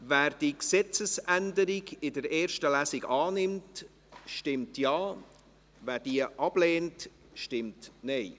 Wer die Gesetzesänderung in der ersten Lesung annimmt, stimmt Ja, wer dies ablehnt, stimmt Nein.